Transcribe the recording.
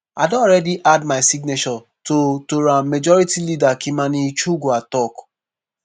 “i don already add my signature to to am” majority leader kimani ichung’wah tok.